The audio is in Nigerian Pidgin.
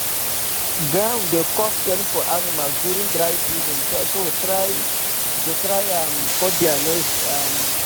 ground dey cause pain for animals during dry season so dey try um cut thier nails um